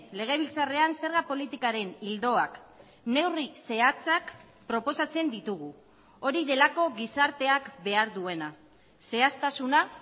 legebiltzarrean zerga politikaren ildoak neurri zehatzak proposatzen ditugu hori delako gizarteak behar duena zehaztasuna